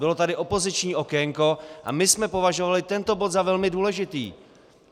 Bylo tady opoziční okénko a my jsme považovali tento bod za velmi důležitý.